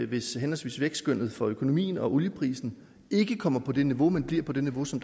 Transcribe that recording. hvis henholdsvis vækstskønnet for økonomien og olieprisen ikke kommer på det niveau men bliver på det niveau som